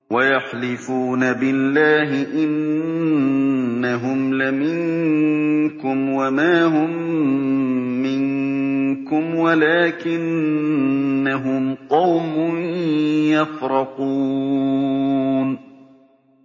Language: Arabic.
وَيَحْلِفُونَ بِاللَّهِ إِنَّهُمْ لَمِنكُمْ وَمَا هُم مِّنكُمْ وَلَٰكِنَّهُمْ قَوْمٌ يَفْرَقُونَ